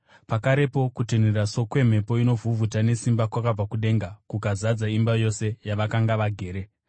Pakarepo kutinhira sokwemhepo inovhuvhuta nesimba kwakabva kudenga kukazadza imba yose yavakanga vagere.